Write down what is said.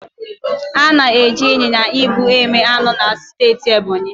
A na-eji ịnyịnya ibu eme anụ na steeti Ebonyi